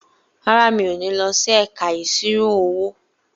Rárá, mi ò ní lọ sí ẹ̀ka ìṣirò-owó.